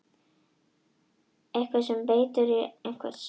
Eitthvað er sem eitur í beinum einhvers